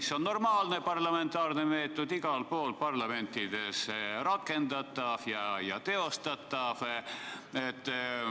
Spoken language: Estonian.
See on normaalne parlamentaarne meetod, igal pool parlamentides rakendatav ja teostatav.